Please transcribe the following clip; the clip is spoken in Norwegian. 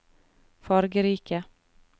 fargerike